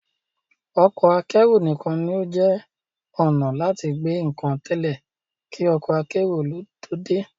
Ọkọ akẹ́rù nìkan ní ó jẹ́ ọnà láti gbé nǹkan tẹ́lẹ̀ kí ọkọ akérò ló dé